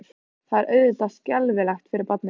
Það er auðvitað skelfilegt fyrir barnið.